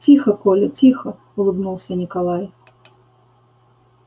тихо коля тихо улыбнулся николай